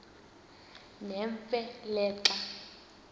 nemfe le xa